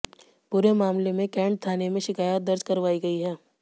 पूरे मामले में कैंट थाने में शिकायत दर्ज करवाई गई है